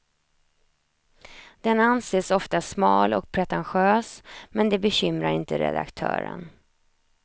Den anses ofta smal och pretentiös, men det bekymrar inte redaktören.